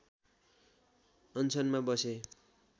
अनसनमा बसे